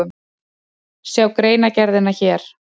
Sjá greinargerðina hér